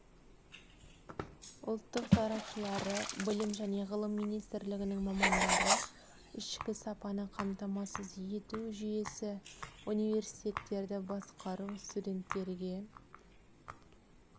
ұлттық сарапшылары білім және ғылым министрлігінің мамандары ішкі сапаны қамтамасыз ету жүйесі университеттерді басқару студенттерге